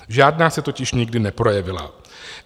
Žádná se totiž nikdy neprojevila.